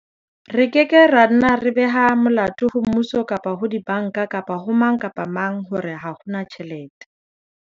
Re ke ke ra nna ra beha molato ho Mmuso kapa ho dibanka kapa ho mang kapa mang hore ha ho tjhelete.